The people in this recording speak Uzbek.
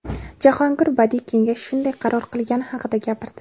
Jahongir badiiy kengash shunday qaror qilgani haqida gapirdi.